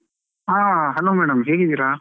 ಆ hello madam ಹೇಗಿದ್ದೀರಾ?